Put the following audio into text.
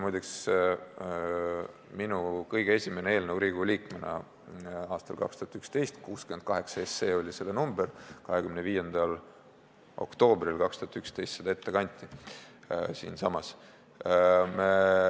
Muide, see oli minu kõige esimene eelnõu Riigikogu liikmena aastal 2011, eelnõu number oli 68 ja see kanti ette 25. oktoobril 2011 siinsamas.